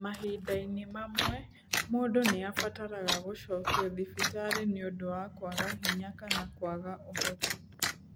Mahinda-inĩ mamwe, mũndũ nĩ abataraga gũcokio thibitarĩ nĩ ũndũ wa kwaga hinya kana kwaga ũhoti.